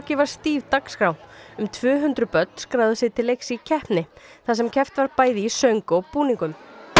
var stíf dagskrá um tvö hundruð börn skráðu sig til leiks í keppni þar sem keppt var bæði í söng og búningum